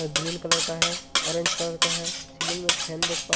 green colour का है orange colour का है सीलिंग में फैन देख पा --